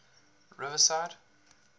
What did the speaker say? riverside